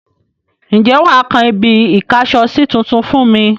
Ǹjẹ́ wà á kan ibi-ìkásọsí tuntun fún mi?